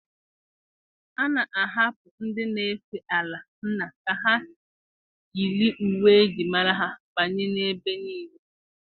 A na-ahapụ ndị na-efe ala nna ha ka ha yiri uwe eji mara ha banye n'ebe niile.